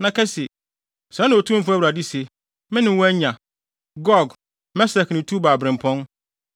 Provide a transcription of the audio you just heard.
na ka se: ‘Sɛɛ na Otumfo Awurade se: Me ne wo anya. Gog, Mesek ne Tubal birɛmpɔn.